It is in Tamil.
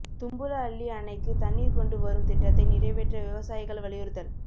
தும்பலஅள்ளி அணைக்கு தண்ணீா் கொண்டு வரும் திட்டத்தை நிறைவேற்ற விவசாயிகள் வலியுறுத்தல்